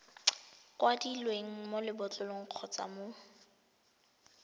kwadilweng mo lebotlolong kgotsa mo